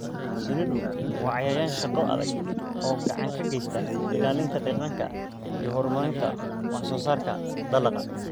Shinnidu waa cayayaan shaqo adag oo gacan ka geysta ilaalinta deegaanka iyo horumarinta wax soo saarka dalagga.